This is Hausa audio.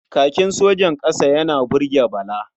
Kakin sojan ƙasa yana burge Bala.